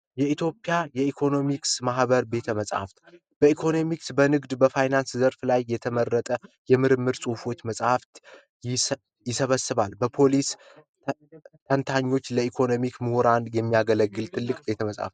የኢትዮጵያ የኢኮኖሚክስ ማህበር ቤተ መጻፍት በኢኮኖሚክስ በንግድ በፋይናንስ ዘርፍ ላይ የተመረጠ የምርምር ጽሑፎች መጽሐፍት የሰበስባል በፖሊስ ለኢኮኖሚክ ምሁራን የሚያገለግል ትልቅ ቤተመፃፍ